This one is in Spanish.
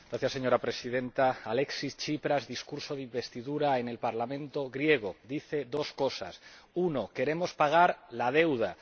Señora Presidenta, Alexis Tsipras, en su discurso de investidura en el Parlamento griego, dice dos cosas uno, queremos pagar la deuda